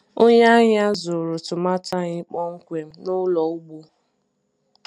Onye ahịa zụrụ tomato anyị kpọmkwem n’ụlọ ugbo.